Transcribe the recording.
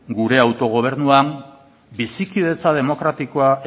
gure autogobernuan bizikidetza demokratikoa